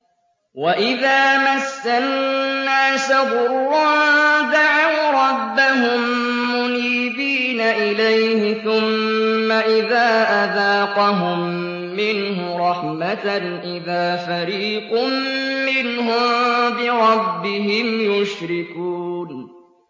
وَإِذَا مَسَّ النَّاسَ ضُرٌّ دَعَوْا رَبَّهُم مُّنِيبِينَ إِلَيْهِ ثُمَّ إِذَا أَذَاقَهُم مِّنْهُ رَحْمَةً إِذَا فَرِيقٌ مِّنْهُم بِرَبِّهِمْ يُشْرِكُونَ